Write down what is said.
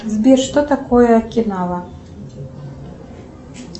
сбер что такое акинава